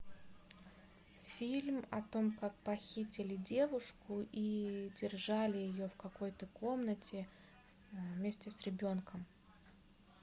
фильм о том как похитили девушку и держали ее в какой то комнате вместе с ребенком